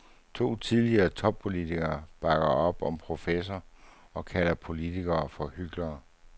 Tidligere toppolitiker bakker op om professor og kalder politikere for hyklere.